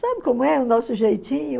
Sabe como é o nosso jeitinho?